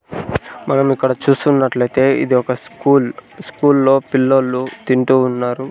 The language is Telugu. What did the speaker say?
మనం ఇక్కడ చూస్తున్నట్లయితే ఇది ఒక స్కూల్ స్కూల్లో పిల్లోలు తింటూ ఉన్నారు.